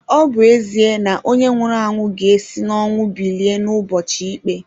Ọ̀ bu ezie na onye nwuru anwu ga esi n'ọnwu bilie n'ubọchi ikpé?